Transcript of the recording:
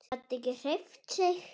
Gat ekki hreyft sig.